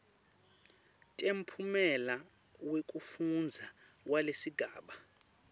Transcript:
temphumela wekufundza walesigaba